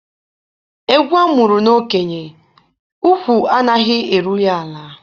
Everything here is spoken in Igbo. Egwu a mụrụ n'okenye, ukwu anaghị eru ya ala.